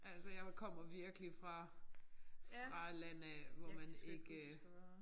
Altså jeg kommer virkelig fra fra landet af hvor man ikke